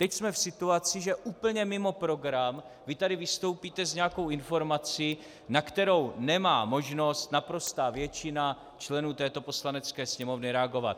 Teď jsme v situaci, že úplně mimo program vy tady vystoupíte s nějakou informací, na kterou nemá možnost naprostá většina členů této Poslanecké sněmovny reagovat.